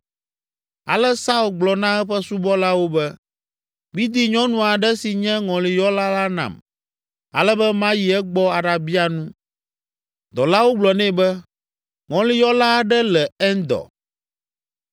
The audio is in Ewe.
Ale Saul gblɔ na eƒe subɔlawo be, “Midi nyɔnu aɖe si nye ŋɔliyɔla la nam, ale be mayi egbɔ aɖabia nu.” Dɔlawo gblɔ nɛ be, “Ŋɔliyɔla aɖe le Endor.”